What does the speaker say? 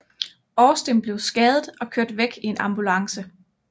Austin blev skadet og kørt væk i en ambulance